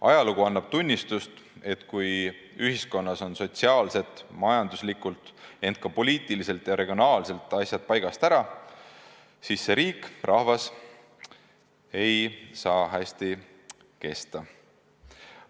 Ajalugu annab tunnistust, et kui ühiskonnas on sotsiaalselt, majanduslikult, ent ka poliitiliselt ja regionaalselt asjad paigast ära, siis see riik ja rahvas ei saa hästi kesta.